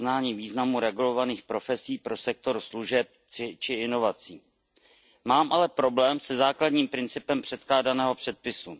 uznání významu regulovaných profesí pro sektor služeb či inovací. Mám ale problém se základním principem předkládaného předpisu.